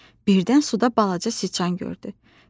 Birdən suda balaca sıçan gördü.